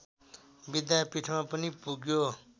विद्यापिठमा पनि पुग्यो